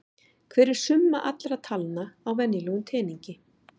Hver er summa allra talna á venjulegum teningi?